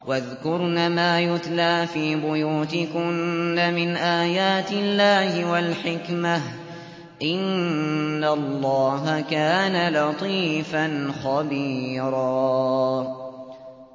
وَاذْكُرْنَ مَا يُتْلَىٰ فِي بُيُوتِكُنَّ مِنْ آيَاتِ اللَّهِ وَالْحِكْمَةِ ۚ إِنَّ اللَّهَ كَانَ لَطِيفًا خَبِيرًا